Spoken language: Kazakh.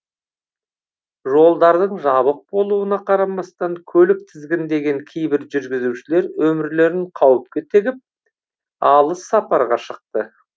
жолдардың жабық болуына қарамастан көлік тізгіндеген кейбір жүргізушілер өмірлерін қауіпке тігіп алыс сапарға шықты